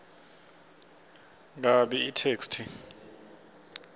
kabi itheksthi